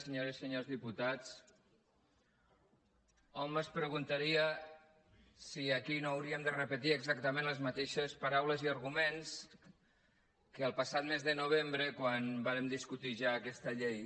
senyores i senyors diputats hom es preguntaria si aquí no hauríem de repetir exactament les mateixes paraules i arguments del passat mes de novembre quan vàrem discutir ja aquesta llei